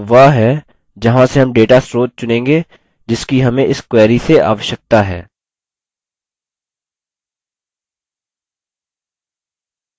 यह वह है जहाँ से हम data स्रोत चुनेंगे जिसकी हमें इस query से आवश्यकता है